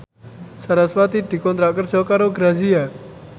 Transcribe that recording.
sarasvati dikontrak kerja karo Grazia